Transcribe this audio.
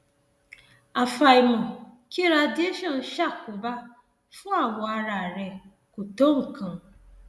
àfàìmọ kí radiation ṣàkóbá fún awọ ara rẹ kò tó nǹkan